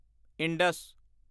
Indus